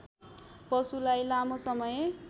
पशुलाई लामो समय